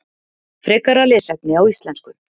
Frekara lesefni á íslensku: